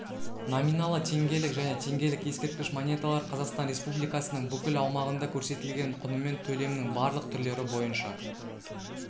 номиналы теңгелік және теңгелік ескерткіш монеталар қазақстан республикасының бүкіл аумағында көрсетілген құнымен төлемнің барлық түрлері бойынша